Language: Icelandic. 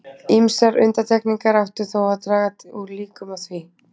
Ýmsar undantekningar áttu þó að draga úr líkum á því.